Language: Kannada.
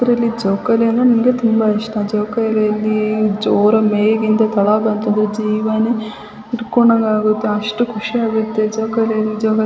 ಇದ್ರಲ್ಲಿ ಜೋಕಾಲಿ ಅಂದ್ರೆ ನನಗೆ ತುಂಬಾ ಇಷ್ಟ. ಜೋಕಾಲಿಯಲ್ಲಿ ಜೋರಾಗಿ ಮೇಲಿಂದ ಕೆಲ ಬಂದು ಜೇವನೇ ಹಿಡ್ಕೊಂಡಗ್ ಆಗುತೆ ಅಷ್ಟು ಖುಷಿ ಆಗುತ್ತೆ ಜೋಕಾಲಿಲಿ --